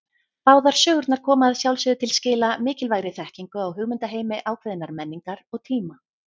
Báðar sögurnar koma að sjálfsögðu til skila mikilvægri þekkingu á hugmyndaheimi ákveðinnar menningar og tíma.